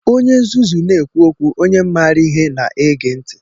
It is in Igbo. Onye nzuzu na-ekwu okwu, onye maara ihe na-ege ntị.